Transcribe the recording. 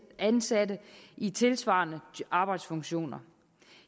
ansatte i tilsvarende arbejdsfunktioner